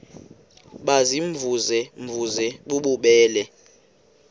baziimvuze mvuze bububele